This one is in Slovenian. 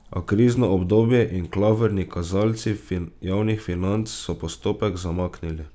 A krizno obdobje in klavrni kazalci javnih financ so postopek zamaknili.